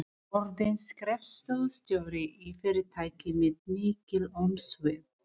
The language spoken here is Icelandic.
Orðin skrifstofustjóri í fyrirtæki með mikil umsvif.